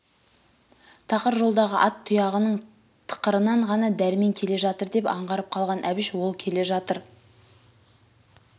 тақыр жолдағы ат тұяғының тықырынан ғана дәрмен келе жатыр деп аңғарып қалған әбіш ол келе жатыр